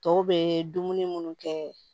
Tɔw bɛ dumuni minnu kɛ